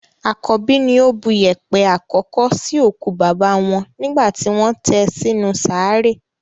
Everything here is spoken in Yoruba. Àkọ́bí ni ó bu yèèpẹ̀ àkọ́kọ́ sí òkú bàbá wọn nígbà tí wọ́n tẹ sí inú sàárè.